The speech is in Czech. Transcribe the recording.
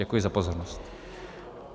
Děkuji za pozornost.